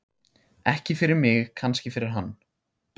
Ekki fyrir mig, kannski fyrir hann.